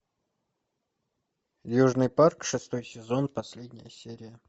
южный парк шестой сезон последняя серия